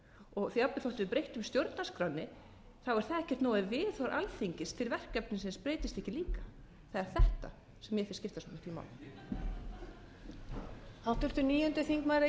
og jafnvel þótt við breyttum stjórnarskránni er það ekkert nóg ef viðhorf alþingis til verkefnisins breytist ekki líka það er þetta sem mér finnst skipta svo máli máli